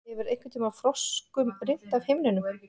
Hefur einhverntíma froskum rignt af himninum?